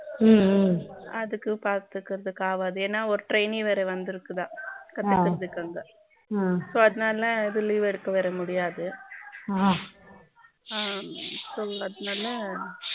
ம்ம அதுக்கு பாத்துக்குறதுக்காவது ஏன்னா ஒரு train வேற வந்து இருக்குதா அ கத்துகிறதுக்காக‌ ஆ அப்ப அதனால leave எடுக்க வர முடியாது ஆ so அதனால